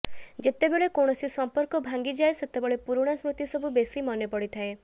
ଯେତେବେଳେ କୌଣସି ସଂପର୍କ ଭାଙ୍ଗିଯାଏ ସେତେବେଳେ ପୁରୁଣା ସ୍ମୃତି ସବୁ ବେଶୀ ମନେ ପଡ଼ିଥାଏ